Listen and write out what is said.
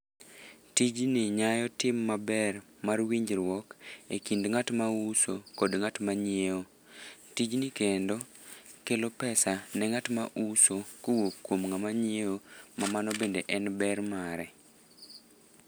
Tijni nyayo tim maber mar winjruok e kind ngát ma uso kod ngát ma nyiewo. Tijni kendo kelo pesa ne ngát ma uso kowuok kuom ngáma nyiewo, ma mano bende en ber mare.